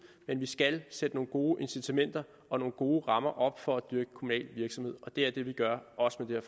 men vi skal sætte nogle gode incitamenter og gode rammer op for at dyrke kommunal virksomhed og det er det vi gør også med